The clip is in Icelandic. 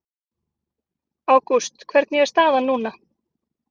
Ágúst hvernig er staðan núna?